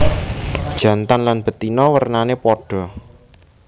Jantan lan betina wernané padha